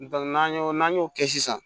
n'an y'o n'an y'o kɛ sisan